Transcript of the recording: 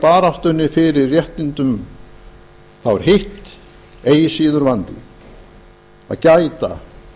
baráttunni fyrir réttinum þá er hitt eigi síður vandi að gæta